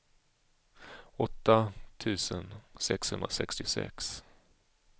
åtta tusen sexhundrasextiosex